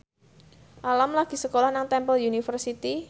Alam lagi sekolah nang Temple University